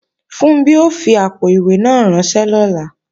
Funbí ó fi àpò-ìwé náà ránṣẹ́ lọ́la